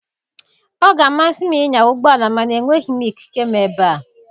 Ọ ga-amasị m ịnya ụgbọ ala mana enweghị m ikike m ebe a.